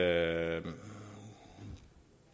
at